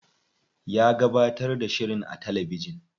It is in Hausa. Ya gabatar da shirin a talabijin.